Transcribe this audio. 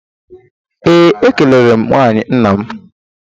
Ee, ekelere m nwunye nna m